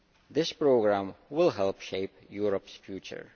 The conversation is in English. This Programme will help shape Europe's future.